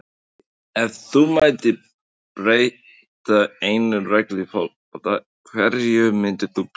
Ef þú mættir breyta einni reglu í fótbolta, hverju myndir þú breyta?